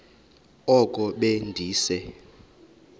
oko be ndise